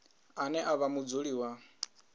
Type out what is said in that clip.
ane a vha mudzuli wa